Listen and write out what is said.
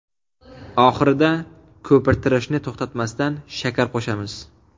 Oxirida, ko‘pirtirishni to‘xtatmasdan, shakar qo‘shamiz.